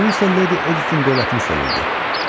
Xyu isə Ledi Editin dövlətini sevirdi.